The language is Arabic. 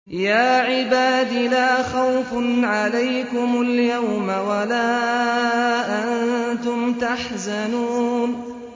يَا عِبَادِ لَا خَوْفٌ عَلَيْكُمُ الْيَوْمَ وَلَا أَنتُمْ تَحْزَنُونَ